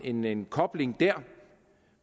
en en kobling der